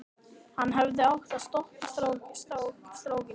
Hann hefði átt að stoppa strákinn.